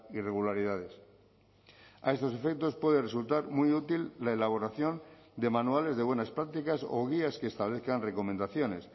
irregularidades a estos efectos puede resultar muy útil la elaboración de manuales de buenas prácticas o guías que establezcan recomendaciones